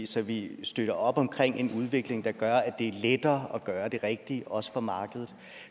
så vi støtter op om en udvikling der gør at det er lettere at gøre det rigtige også for markedet